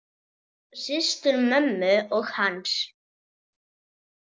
Systur mömmu og hans.